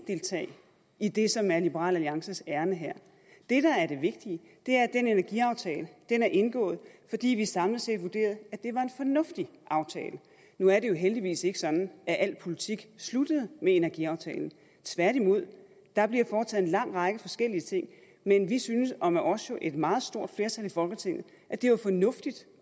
deltage i det som er liberal alliances ærinde her det der er det vigtige er at den energiaftale er indgået fordi vi samlet set vurderede at det var en fornuftig aftale nu er det jo heldigvis ikke sådan at al politik sluttede med energiaftalen tværtimod der bliver foretaget en lang række forskellige ting men vi synes og med os jo et meget stort flertal i folketinget at det var fornuftigt